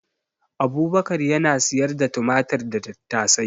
Abubakar yana siyar da tumatir da tattasai